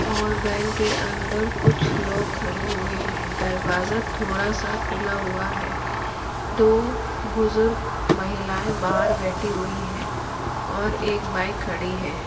और बैंक के अंदर कुछ लोग खड़े हुएँ हैं। दरवाजा थोड़ा सा खुला हुआ है। दो बुजुर्ग महिलाएं बाहर बैठीं हुईं हैं और एक बाईक खड़ी है।